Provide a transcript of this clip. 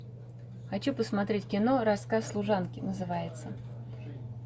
хочу посмотреть кино рассказ служанки называется